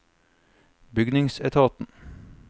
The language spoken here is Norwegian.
bygningsetaten